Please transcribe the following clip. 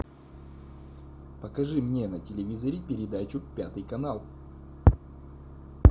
покажи мне на телевизоре передачу пятый канал